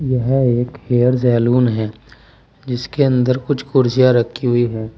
यह एक hair salon है जिसके अंदर कुछ कुर्सियां रखी हुई है।